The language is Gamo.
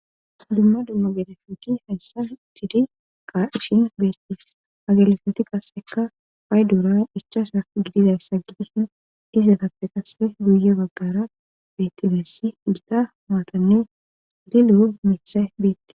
Dumma dummo gelefuti hayssa cidi qa ishin beettis agalfoti qasseka fay duura ichasa gidizayssa gidishin izetappe qasse duuye baggara bettigeessi gita maatannu lilu mithe biitte..